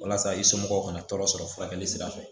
Walasa i somɔgɔw ka na tɔɔrɔ sɔrɔ furakɛli sira fɛ